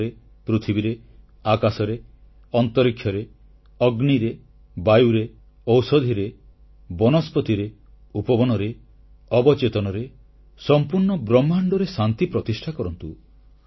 ଜଳରେ ପୃଥିବୀରେ ଆକାଶରେ ଅନ୍ତରୀକ୍ଷରେ ଅଗ୍ନିରେ ବାୟୁରେ ଔଷଧିରେ ବନସ୍ପତିରେ ଉପବନରେ ଅବଚେତନରେ ସମ୍ପୂର୍ଣ୍ଣ ବ୍ରହ୍ମାଣ୍ଡରେ ଶାନ୍ତିପ୍ରତିଷ୍ଠା କରନ୍ତୁ